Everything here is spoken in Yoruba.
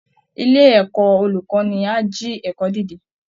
Ilé ẹ̀kọ́ olùkọ́ni á jí ẹ̀kọ́ dìde